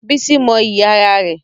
Bísí mọ iyì ara rẹ̀.